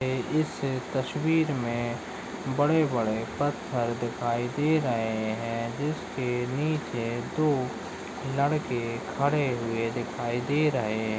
इस तस्वीर मे बड़े-बड़े पत्थर दिखाई दे रहे है जिसके नीचे दो लड़के खड़े हुए दिखाई दे रहे है।